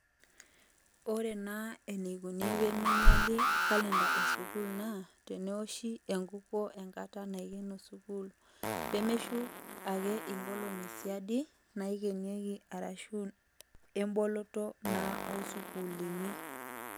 Ore naa eneikoni peeminyiali kalenda esukuul naa tenewoshi enkukuo engata naikeno sukuul, peemeshuk ake inkolongi siadi naikenieki ashu emboloto naa isukuulini.